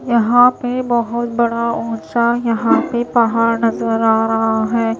यहां पे बहोत बड़ा ऊंचा यहां पे पहाड़ नजर आ रहा है।